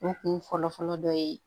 U kun fɔlɔ fɔlɔ dɔ ye